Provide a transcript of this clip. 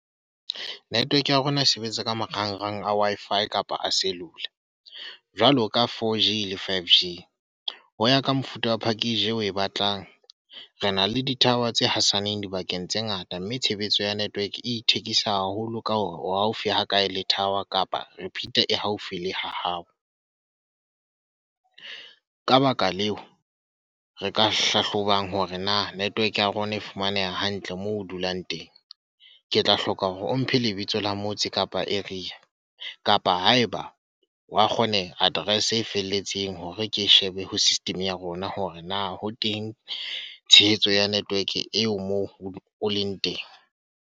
Network ya rona e sebetsa ka marangrang a Wi-Fi kapa a cellular. Jwalo ka 4G le 5G. Ho ya ka mofuta wa package o e batlang. Re na le di tower tse hasaneng dibakeng tse ngata, mme tshebetso ya network e ithekisa haholo ka hore wa haufi hakae tower kapa e haufi le ha hao. Ka baka leo, re ka hlahlobang hore na network ya rona e fumaneha hantle moo o dulang teng. Ke tla hloka hore o mphe lebitso la rona motse Kapa area. Kapa haeba wa kgoneha, address e felletseng hore ke shebe ho system ya rona hore na ho teng tshehetso ya network eo moo o leng teng.